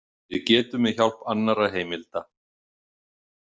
Við getum með hjálp annarra heimilda.